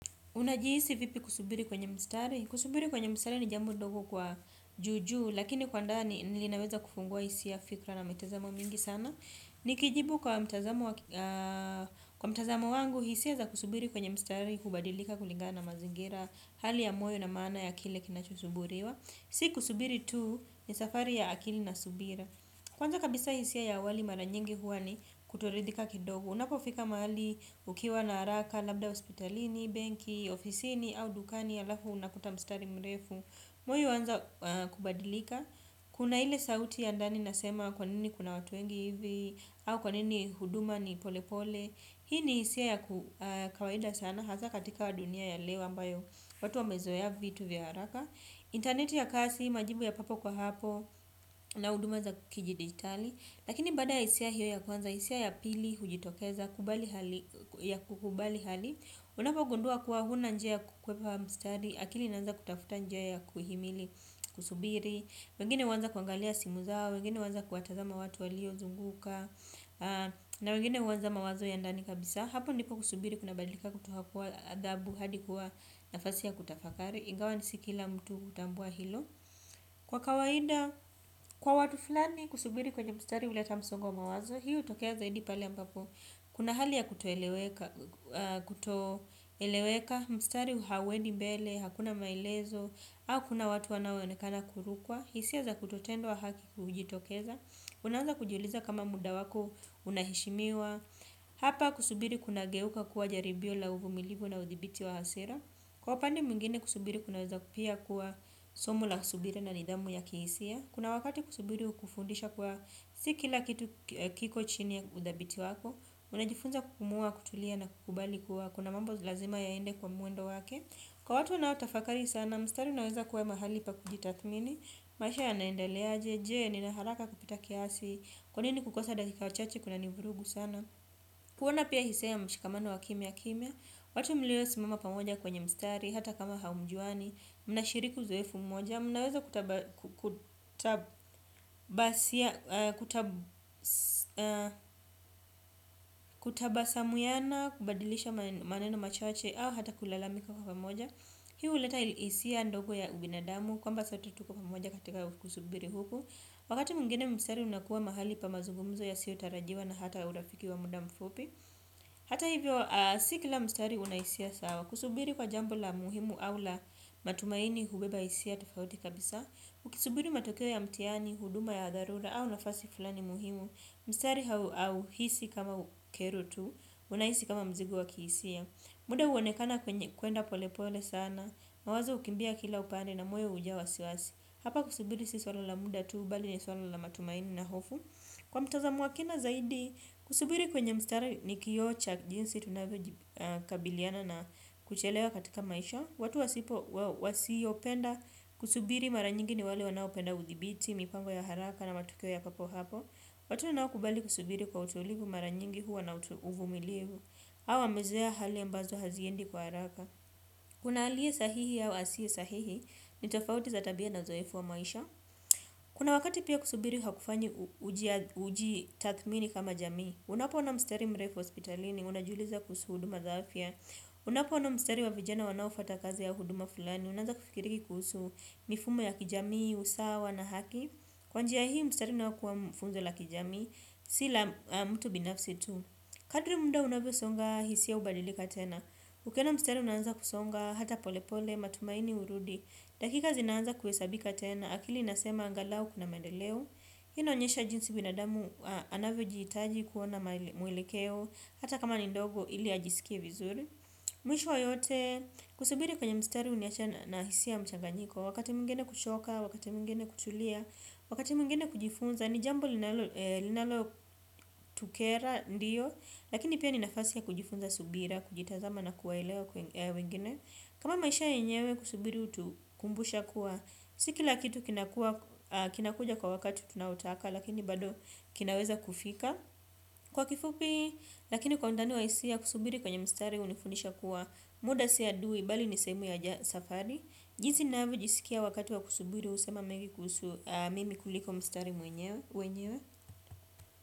Unajihisi vipi kusubiri kwenye mstari? Kusubiri kwenye mstari ni jambo dogo kwa juujuu lakini kwa ndani nilinaweza kufungua hisia fikra na mitazamo mingi sana. Nikijibu kwa mtazamo wangu hisia za kusubiri kwenye mstari hubadilika kulingana na mazingira hali ya moyo na maana ya kile kinachosubiriwa. Si kusubiri tu ni safari ya akili na subira. Kwanza kabisa hisia ya awali mara nyingi huwa ni kutoridhika kidogo. Unapofika mahali ukiwa na haraka, labda hospitalini, benki, ofisini au dukani halafu unakuta mstari mrefu. Mwoyo huanza kubadilika. Kuna ile sauti ya ndani nasema kwanini kuna watu wengi hivi. Au kwanini huduma ni polepole. Hii ni hisia ya kawaida sana hasa katika dunia ya leo ambayo watu wamezoa vitu vya haraka internet ya kasi, majibu ya papo kwa hapo na huduma za kidigitali lakini baada ya hisia hiyo ya kwanza hisia ya pili hujitokeza ya kukubali hali unapogundua kuwa huna njia ya kukwepa mstari, akili inaanza kutafuta njia ya kuhimili, kusubiri wengine huwanza kuangalia simu zao wengine huanza kuwatazama watu walio zunguka na wengine huanza mawazo ya ndani kabisa hapo ndipo kusubiri kuna badilika kutoka kuwa adhabu hadi kuwa nafasi ya kutafakari ingawa ni si kila mtu hutambua hilo. Kwa kawaida kwa watu fulani kusubiri kwenye mstari huleta msongo wa mawazo. Hii hutokea zaidi pale ambapo kuna hali ya kutoeleweka. Kutoeleweka. Mstari hauendi mbele. Hakuna maelezo au kuna watu wanaonekana kurukwa. Hisia za kutotendwa haki hujitokeza. Unaanza kujiuliza kama muda wako. Unaheshimiwa. Hapa kusubiri kunageuka kuwa jaribio la uvumilivu na udhibiti wa hasira. Kwa upande mwingine kusubiri kunaweza pia kuwa somo la subira na nidhamu ya kihisia. Kuna wakati kusubiri hukufundisha kuwa si kila kitu kiko chini ya udhabiti wako. Unajifunza kupumua, kutulia na kukubali kuwa. Kuna mambo lazima yaende kwa mwendo wake. Kwa watu wanao tafakari sana mstari unaeza kuwa mahali pa kujitathmini. Maisha yanaendeleaje, je, nina haraka kupita kiasi. Kwanini kukosa dakika chache kuna ni vurugu sana. Kuona pia hisia ya mshikamano wa kimya kimya. Watu mlio simama pamoja kwenye mstari, hata kama hamjuani. Mna shiriku uzoefu mmoja. Mnaweza kutabasia. Kutabasamuiana. Kubadilisha maneno machache au hata kulalamika kwa pamoja. Hii huleta hisia ndogo ya ubinadamu kwamba sote tuko pamoja katika kusubiri huku. Wakati mwingine mstari unakuwa mahali pa mazugumzo yasio tarajiwa na hata urafiki wa muda mfupi. Hata hivyo si kila mstari una hisia sawa kusubiri kwa jambo la muhimu au la matumaini hubeba hisia tofauti kabisa ukisubiri matokeo ya mtihani huduma ya dharura au nafasi fulani muhimu mstari hauhisi kama kero tu. Unahisi kama mzigo wa kihisia. Muda huonekana kuenda pole pole sana. Mawazo hukimbia kila upande na moyo hujaa wasiwasi. Hapa kusubiri si swala la muda tu bali ni swala la matumaini na hofu. Kwa mtazamoa wa kina zaidi kusubiri kwenye mstari ni kioo cha jinsi tunavyo kabiliana na kuchelewa katika maisha. Watu wasipo wasiopenda kusubiri mara nyingi ni wale wanao penda udhibiti, mipango ya haraka na matokeo ya papo hapo. Watu wanao kubali kusubiri kwa utulivu mara nyingi huwa na uvumilivu. Au wamezoea hali ambazo haziendi kwa haraka. Kuna alie sahihi au asie sahihi, ni tofauti za tabia na uzoefu wa maisha. Kuna wakati pia kusubiri hakufanyi uji tathmini kama jamii. Unapo ona mstari mrefu hospitalini, unajiuliza kuhusu huduma za afya. Unapo ona mstari wa vijana wanaofata kazi ya huduma fulani una anza kufikiri kuhusu mifumo ya kijamii, usawa na haki kwa njia hii mstari unaokuwa funzo la kijamii. Si la mtu binafsi tu. Kadri muda unavyo songa hisia hubadilika tena. Ukiona mstari unaanza kusonga hata pole pole matumaini hurudi. Dakika zinaanza kuhesabika tena. Akili inasema angalau kuna maendeleo. Hii ina onyesha jinsi binadamu anavyo jihitaji kuona mwelekeo. Hata kama ni ndogo ili ajisikie vizuri. Mwisho yote, kusubiri kwenye mstari huniacha na na hisia mchanganyiko. Wakati mwingine kuchoka, wakati mwingine kutulia, wakati mwingine kujifunza. Ni jambo linalo tukera lakini pia ni nafasi ya kujifunza subira kujitazama na kuwa elewa wengine. Kama maisha yenyewe kusubiri hutu kumbusha kuwa si kila kitu kinakuja kwa wakati tunao taka lakini bado kinaweza kufika. Kwa kifupi, lakini kwa undani wa hisia kusubiri kwenye mstari hunifundisha kuwa muda si adui bali ni sehemu ya safari jinsi niavyo jisikia wakati wa kusubiri husema mengi kuhusu mimi kuliko mstari wenyewe.